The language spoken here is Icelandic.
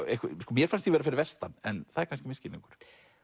mér fannst ég vera fyrir vestan en það er kannski misskilningur